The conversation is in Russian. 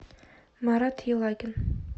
марат елагин